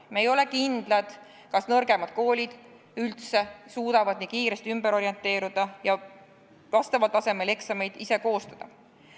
Me ei ole kindlad, kas nõrgemad koolid üldse suudavad nii kiiresti ümber orienteeruda ja vastaval tasemel eksameid ise koostada.